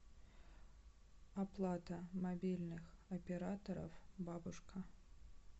оплата мобильных операторов бабушка